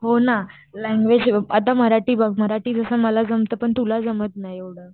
हो ना ल्यांग्युएज, आता मराठी बघ मराठी जस मला जमत तसं तुला जमत नाही एव्हडं.